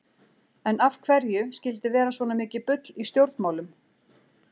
En af hverju skyldi vera svona mikið bull í stjórnmálum?